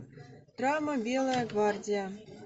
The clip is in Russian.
драма белая гвардия